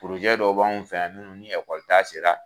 dɔ b'anw fɛ yan munnu ni kɔli ta sera